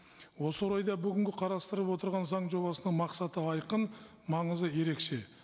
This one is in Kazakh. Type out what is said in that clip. осы орайда бүгінгі қарастырып отырған заң жобасының мақсаты айқын маңызы ерекше